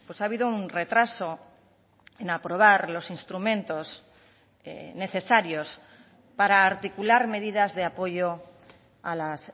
ha habido un retraso en aprobar los instrumentos necesarios para articular medidas de apoyo a las